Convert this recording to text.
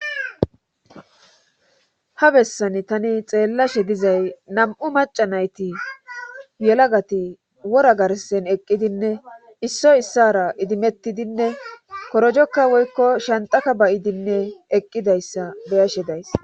ha bessani tani xeellashe dizay nam7u maca nayti yelagati wora garsen eqqidinne issoy issara idimettidinne korojokka woykko shantaka bayidinne eqqidayssa beyashe days